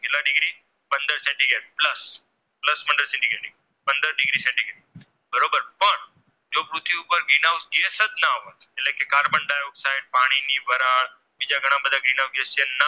ની નવયસ છે